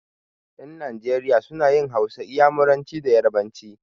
Ƴan Najeriya suna yin Hausa, Inyamuranci da yarabanci.